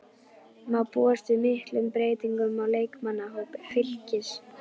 Má búast við miklum breytingum á leikmannahópi Fylkis?